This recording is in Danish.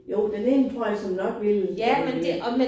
Jo den ene tror jeg såmænd nok ville øh